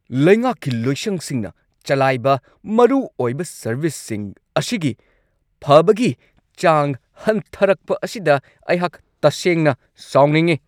ꯂꯩꯉꯥꯛꯀꯤ ꯂꯣꯏꯁꯪꯁꯤꯡꯅ ꯆꯂꯥꯏꯕ ꯃꯔꯨꯑꯣꯏꯕ ꯁꯔꯕꯤꯁꯁꯤꯡ ꯑꯁꯤꯒꯤ ꯐꯕꯒꯤ ꯆꯥꯡ ꯍꯟꯊꯔꯛꯄ ꯑꯁꯤꯗ ꯑꯩꯍꯥꯛ ꯇꯁꯦꯡꯅ ꯁꯥꯎꯅꯤꯡꯉꯤ ꯫